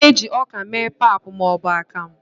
a na-eji ọka mee pap ma ọ bụ akamu